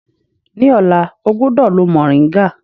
Ní ọ̀la, ọ gbúdọ̀ lo mòríńgà.